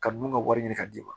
Ka nun ka wari ɲini ka d'i ma